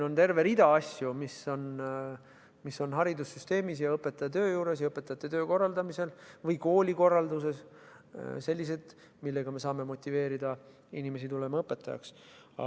On terve rida muid asju, mis on haridussüsteemis ja õpetajate töö korraldamisel või koolikorralduses sellised, millega saame motiveerida inimesi õpetajaks tulema.